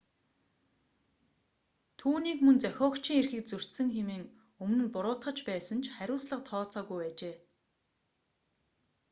түүнийг мөн зохиогчийн эрхийг зөрчсөн хэмээн өмнө нь буруутгаж байсан ч хариуцлага тооцоогүй байжээ